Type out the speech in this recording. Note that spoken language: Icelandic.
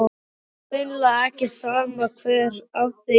Það var greinilega ekki sama hver átti í hlut.